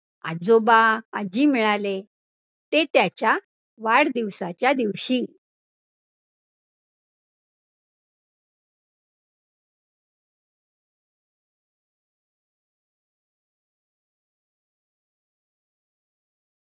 आजोबा आजी मिळाले ते त्याच्या वाढदिवसाच्या दिवशी